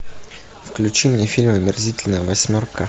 включи мне фильм омерзительная восьмерка